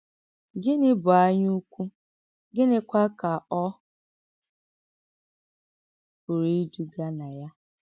Gịnị́ bụ̀ ànyáùkwù, gịnịkwa kà ọ̀ pụrụ ìdùgà nà ya?